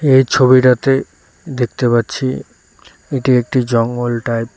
এই ছবিটাতে দেখতে পাচ্ছি এটি একটি জঙ্গল টাইপ ।